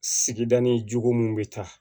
Sigida ni jogo mun bɛ taa